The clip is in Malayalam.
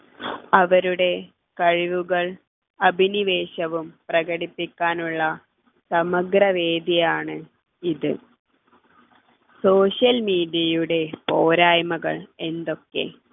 അവരുടെ കഴിവുകൾ അഭിനിവേശവും പ്രകടിപ്പിക്കാനുള്ള സമഗ്രവേദിയാണ് ഇത് social media യുടെ പോരായ്മകൾ എന്തൊക്കെ